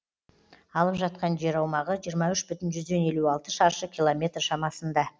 алып жатқан жер аумағы жиырма үш бүтін елу алты шаршы километр шамасында